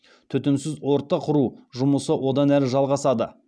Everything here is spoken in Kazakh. түтінсіз орта құру жұмысы одан әрі жалғасады